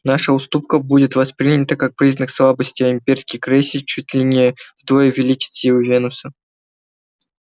наша уступка будет воспринята как признак слабости а имперский крейсер чуть ли не вдвое увеличит силы венуса